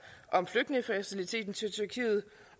om flygtningefaciliteten til tyrkiet